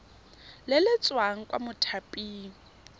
le le tswang kwa mothaping